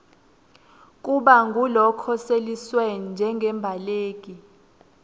kuba ngulokhoseliswe njengembaleki